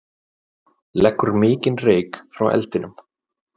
Leggur mikinn reyk frá eldinum